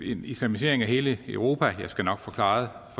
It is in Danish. en islamisering af hele europa jeg skal nok få svaret